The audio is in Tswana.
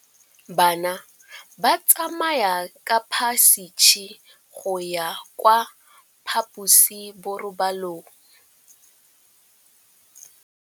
Bana ba tsamaya ka phašitshe go ya kwa phaposiborobalong.